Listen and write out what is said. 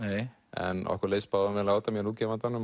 en okkur leist báðum vel á þetta mér og útgefandanum